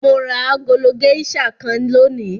Mo ra agolo géíṣà kan lónìí.